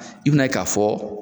I bina ye, k'a fɔ